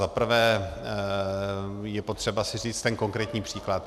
Zaprvé je potřeba si říct ten konkrétní příklad.